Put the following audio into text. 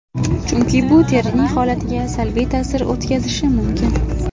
Chunki bu terining holatiga salbiy ta’sir o‘tkazishi mumkin.